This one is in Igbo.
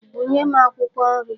Bunye m akwụkwọ nri.